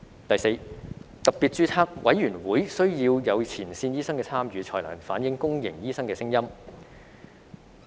第四，特別註冊委員會需要有前線醫生的參與，才能反映公營醫生的聲音。